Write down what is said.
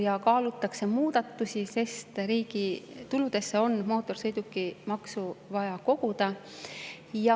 Nüüd kaalutakse muudatusi, sest riigi tuludesse on mootorsõidukimaksu vaja koguda.